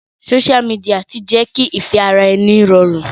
Social media ti jẹ́ kí ìfẹ́ràẹni rọrùn.